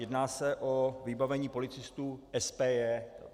Jedná se o vybavení policistů SPJ.